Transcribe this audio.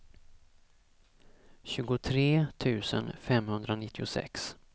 tjugotre tusen femhundranittiosex